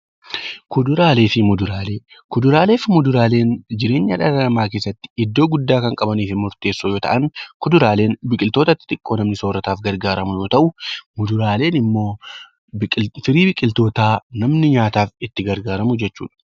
Kuduraalee fi muduraaleen jireenya dhala namaa keessatti iddoo guddaa kan qabanii fi murteessoo kan ta'an kuduraaleen biqiloota xixiqqoo namni soorataaf fayyadamu yoo ta'u, muduraaleen immoo sanyii biqilootaa namni nyaataaf itti gargaaramudha